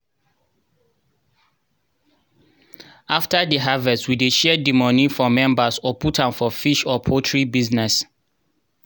after harvest we dey share di moni for member or put am for fish or poultry business.